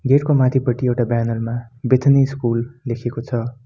गेटको माथिपटि एउटा ब्यानरमा बेथानी स्कुल लेखेको छ।